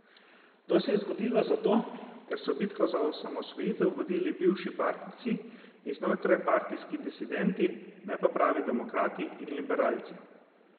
To se je zgodilo zato, ker so bitko za osamosvojitev vodili bivši partijci in znotrajpartijski disidenti, ne pa pravi demokrati in liberalci.